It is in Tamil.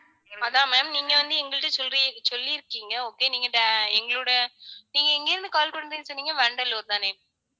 அதான் ma'am நீங்க வந்து, எங்கள்ட்ட சொல்லி~ சொல்லியிருக்கீங்க. okay நீங்க di~ எங்களோட நீங்க எங்க இருந்து call பண்ணணு சொன்னீங்க வண்டலூர் தானே